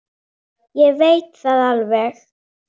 Ég veit það alveg.